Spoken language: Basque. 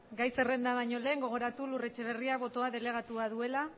gai zerrenda bañolen gogoratu lur etxeberria botoa delegatua duela